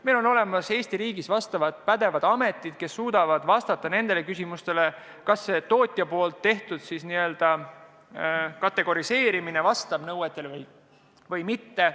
Meil on Eesti riigis pädevad ametid, kes suudavad vastata küsimustele, kas tootja n-ö kategoriseerimine on tehtud nõuetekohaselt või mitte.